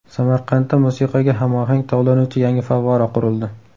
Samarqandda musiqaga hamohang tovlanuvchi yangi favvora qurildi.